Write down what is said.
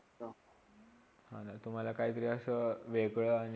हा तुम्हाला काहितरी असा वेगळा आणि